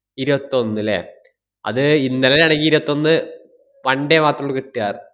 ഇരുവത്തൊന്ന് ല്ലേ? അത് ഇന്നലെ ആണെങ്കി ഇരുവത്തൊന്ന് one day മാത്രോള്ളൂ കിട്ട്കാ.